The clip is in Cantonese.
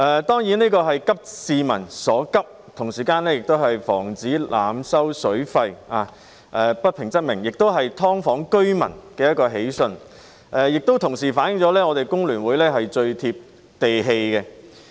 當然，這是急市民所急，同時也是為了防止濫收水費，不平則鳴，是"劏房"居民的一個喜訊，亦反映出香港工會聯合會是最貼地氣的。